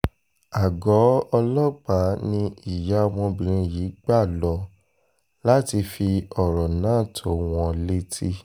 àgọ́ ọlọ́pàá ni ìyá ọmọbìnrin yìí gbà lọ láti fi ọ̀rọ̀ náà tó wọn létí